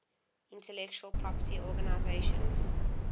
intellectual property organization